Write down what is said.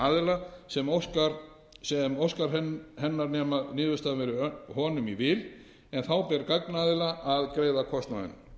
aðila sem óskar hennar nema niðurstaðan verði honum í vil en þá ber gagnaðila að greiða kostnaðinn